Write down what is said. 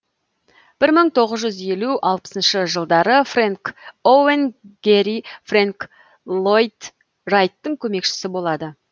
бір мың тоғыз жүз елу алпысыншы жылдары фрэнк оуэн гери фрэнк ллойд райттың көмекшісі болады